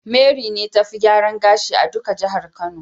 Mary be ta Fi gyaran gashi a duka jihar kano.